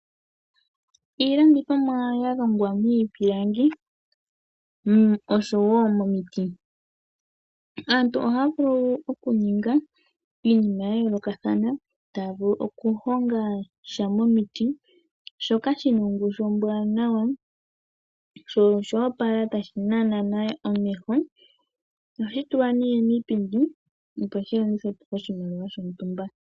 Iilandithomwa ya longwa miipilangi noshowo miiti. Aantu ohaya vulu okuninga iinima ya yoolokathana, taya vulu okuhonga sha miiti, shoka shi na ongushu ombwaanawa sho osha opala tashi nana omeho. Ohashi tulwa nee miipindi, opo shi landithwe po kiimaliwa yomwaalu gontumba.